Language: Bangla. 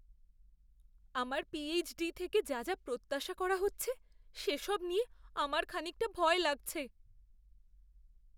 আমার পিএইচডি থেকে যা যা প্রত্যাশা করা হচ্ছে সেসব নিয়ে আমার খানিকটা ভয় লাগছে!